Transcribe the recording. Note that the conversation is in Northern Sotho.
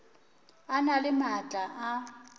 a na le maatla a